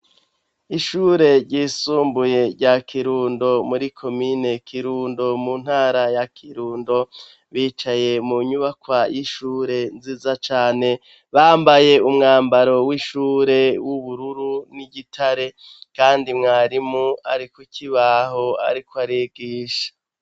Ishure ryisumbuye rya Kirundo muri komine Kirundo mu ntara ya Kirundo, bicaye mu nyubakwa y'ishure nziza cane. Bambaye umwambaro w'ishure w'ubururu n'igitare, kandi mwarimu ari kuki baho ariko arigisha.